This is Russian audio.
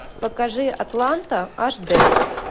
покажи атланта аш д